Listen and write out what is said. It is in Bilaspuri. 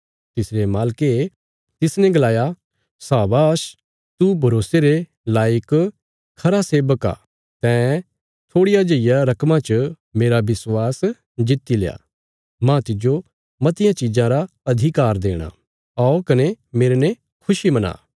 तिसरे मालके तिसने गलाया शाबाश तू भरोसे रे लायक खरा सेबक आ तैं थोड़िया जेईया रकमा च मेरा विश्वास जित्तिल्या माह तिज्जो मतियां चिज़ां रा अधिकार देणा औ कने मेरने खुशी मना